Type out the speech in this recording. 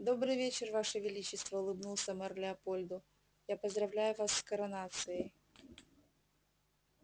добрый вечер ваше величество улыбнулся мэр леопольду я поздравляю вас с коронацией